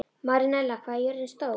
Marinella, hvað er jörðin stór?